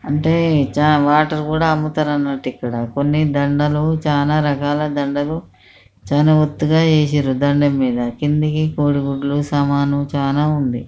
అంటే చానా వాటర్ కూడా అమ్ముతారు అన్నట్టు ఇక్కడ కొన్ని దండాలు చాలా రకాల దండలు చాలా ఒత్తు గా వేసిండ్రు దండం మీద కింది కి కోడిగుడ్లు సామాన్లు చాలా ఉంది.